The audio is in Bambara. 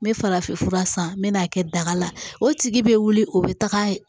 N bɛ farafin fura san n bɛ n'a kɛ daga la o tigi bɛ wuli o bɛ taga